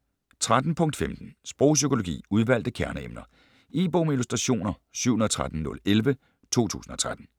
13.15 Sprogpsykologi: udvalgte kerneemner E-bog med illustrationer 713011 2013.